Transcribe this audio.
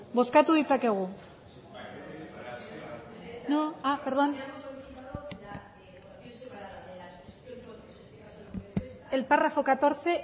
bozkatu ditzakegu no perdón el párrafo catorce